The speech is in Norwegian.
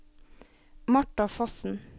Martha Fossen